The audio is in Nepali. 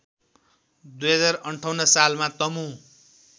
२०५८ सालमा तमु